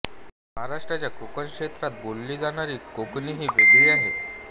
महाराष्ट्राच्या कोकण क्षेत्रात बोलली जाणारी कोंकणीही वेगळी आहे